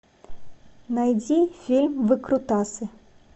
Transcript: найди фильм выкрутасы